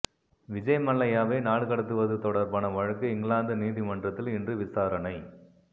விஜய் மல்லையாவை நாடுகடத்துவது தொடர்பான வழக்கு இங்கிலாந்து நீதிமன்றத்தில் இன்று விசாரணை